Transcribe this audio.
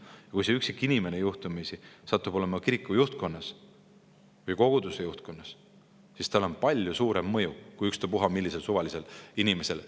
Aga kui see üksik inimene juhtumisi satub olema kiriku juhtkonnas või koguduse juhtkonnas, siis tal on palju suurem mõju kui ükstapuha millisel suvalisel inimesel.